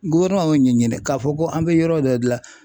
y'o ɲɛ ɲini k'a fɔ ko an bɛ yɔrɔ dɔ dilan